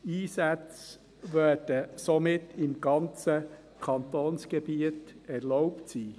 Einsätze werden somit im ganzen Kantonsgebiet erlaubt sein.